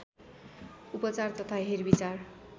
उपचार तथा हेरविचार